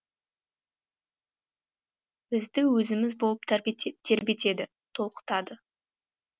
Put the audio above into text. бізді өзіміз болып тербетеді толқытады